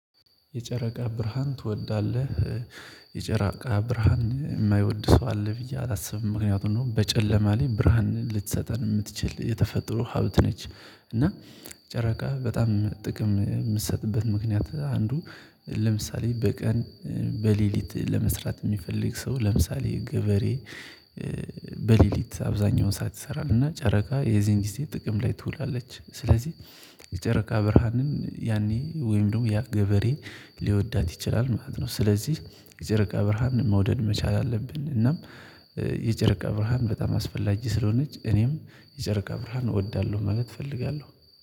የጨረቃ ብርሃን ትወዳለህ? የጨረቃ ብርሃን የማይወድ ሰው አለ ብዬ አላስብም። ምክንያቱም እነሆ በጨለማ ላይ ብርሃን ልትሰጠን የምትችል የተፈጥሮ ሀብት ነች። እና ጨረቃ በጣም ጥቅም የምትሰጥበት ምክንያት አንዱ ለምሳሌ በቀን በሌሊት ለመስራት የሚፈልግ ሰው ለምሳሌ ገበሬ በሌሊት አብዛኛውን ሰዓት ይሰራል እና ጨረቃ የዚህን ጊዜ ጥቅም ላይ ትውላለች። ስለዚህ የጨረቃ ብርሃንን ያኔ ወይም ደግሞ ያ ገበሬ ሊወዳት ይችላል ማለት ነው። ስለዚህ የጨረቃ ብርሃን መውደድ መቻል አለብን። እናም የጨረቃ ብርሃን በጣም አስፈላጊ ስለሆነች እኔም የጨረቃ ብርሃን እወዳለሁ ማለት እፈልጋለሁ